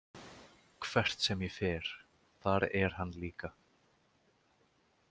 Hvert sem ég fer, þar er hann líka.